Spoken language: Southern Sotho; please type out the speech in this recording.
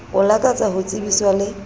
o lakatsa ho tsebiswa le